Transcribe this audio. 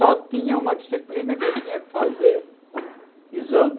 Só tinha uma disciplina que eu tinha que fazer exame.